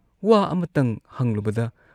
ꯋꯥ ꯑꯃꯇꯪ ꯍꯪꯂꯨꯕꯗ